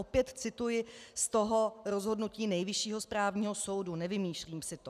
Opět cituji z toho rozhodnutí Nejvyššího správního soudu, nevymýšlím si to.